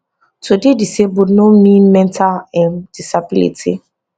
to dey disabled no mean mental um disability